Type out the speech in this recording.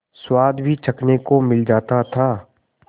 स्वाद भी चखने को मिल जाता था